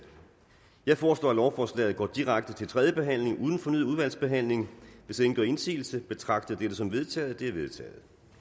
jeg foreslår at lovforslaget går direkte til tredje behandling uden fornyet udvalgsbehandling hvis ingen gør indsigelse betragter jeg dette som vedtaget det vedtaget